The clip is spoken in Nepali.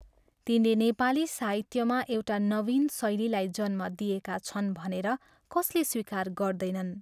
तिनले नेपाली साहित्यमा एउटा नवीन शैलीलाई जन्म दिएका छन् भनेर कसले स्वीकार गर्दैनन्?